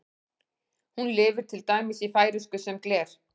Hún lifir til dæmis í færeysku sem gler.